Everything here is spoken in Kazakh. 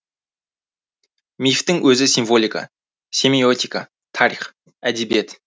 мифтің өзі символика семиотика тарих әдебиет